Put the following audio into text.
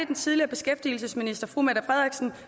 den tidligere beskæftigelsesminister